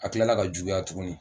A kilala ka juguya tuguni.